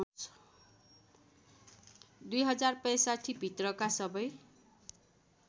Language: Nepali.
२०६५ भित्रका सबै